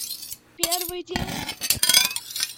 первый день